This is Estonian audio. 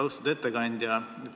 Austatud ettekandja!